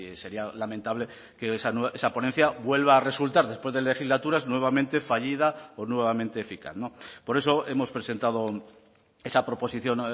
sería lamentable que esa ponencia vuelva a resultar después de legislaturas nuevamente fallida o nuevamente eficaz por eso hemos presentado esa proposición